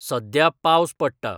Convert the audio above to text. सद्या पावस पडटा